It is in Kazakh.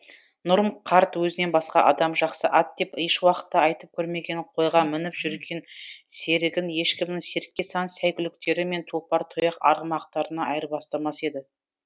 нұрым қарт өзінен басқа адам жақсы ат деп еш уақытта айтып көрмеген қойға мініп жүрген серігін ешкімнің серке сан сәйгүліктері мен тұлпар тұяқ арғымақтарына айырбастамас еді